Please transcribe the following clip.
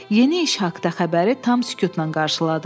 Yeni iş haqda xəbəri tam sükutla qarşıladı.